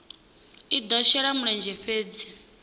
i do shela mulenzhe fhedzi